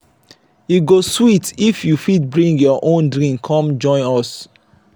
e go sweet if you fit bring your own drink come join us.